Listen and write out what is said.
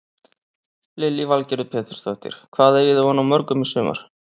Lillý Valgerður Pétursdóttir: Hvað eigið þið von á mörgum í sumar?